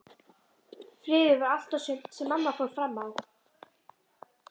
Friður var allt og sumt sem mamma fór fram á.